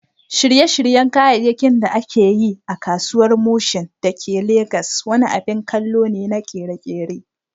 Shirye-shiryen kayayyakin da aka yi a Kasuwar Mushin da ke Legas wani abin kallo ne na ƙere-ƙere.